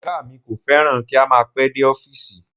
Ọ̀gá mi kò fẹ́ràn kí a máa pẹ́ dé ọfísì